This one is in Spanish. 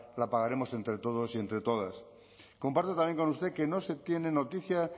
la pagaremos entre todos y entre todas comparto también con usted que no se tiene noticia